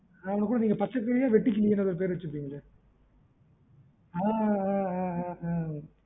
அவனக்குட நீங்க பச்சைக்கிளி யோ வெட்டுக்கிளி யோனு பேரு வச்சிருப்பீங்களே ஆஹ் ஆஹ்